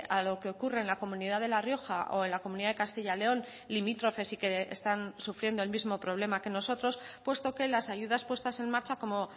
a lo que ocurre en la comunidad de la rioja o en la comunidad de castilla león limítrofes y que están sufriendo el mismo problema que nosotros puesto que las ayudas puestas en marcha como